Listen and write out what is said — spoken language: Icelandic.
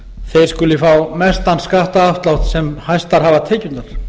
þeir skuli fá mestan skattaafslátt sem hæstar hafa tekjurnar